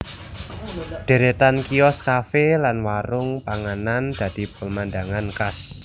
Deretan kios kafe lan warung panganan dadi pemandangan khas